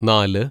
നാല്